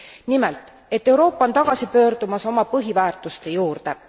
Nimelt et Euroopa on tagasi pöördumas oma põhiväärtuste juurde.